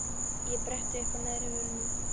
Ég bretti uppá neðri vörina.